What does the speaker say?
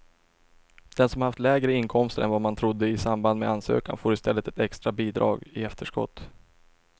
Den som har haft lägre inkomster än vad man trodde i samband med ansökan får i stället ett extra bidrag i efterskott.